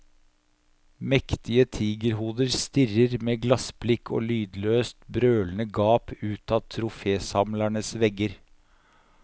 Mektige tigerhoder stirrer med glassblikk og lydløst brølende gap ut av trofésamlernes vegger.